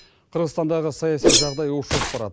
қырғызстандағы саяси жағдай ушығып барады